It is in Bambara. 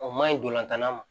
O ma ɲi dolantanla ma